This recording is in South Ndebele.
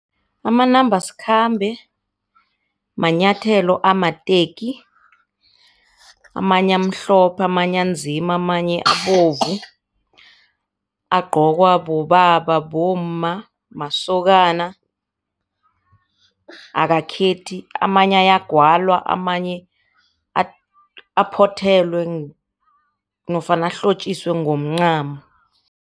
Amanambasikhambe manyathelo amateki amanye amhlophe, amanye anzima, amanye abovu. Agqokwa bobaba, bomma, masokana akakhethi amanye ayagwalwa, amanye aphothelwe nofana ahlotjiswe ngomncamo.